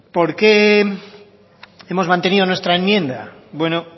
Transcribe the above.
por qué hemos mantenido nuestra enmienda